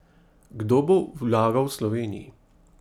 Kdo bo vlagal v Sloveniji?